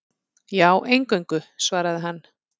Já, eingöngu, svaraði hann.